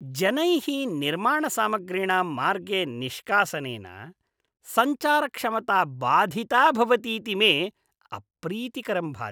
जनैः निर्माणसामग्रीणां मार्गे निष्कासनेन, सञ्चारक्षमता बाधिता भवतीति मे अप्रीतिकरं भाति।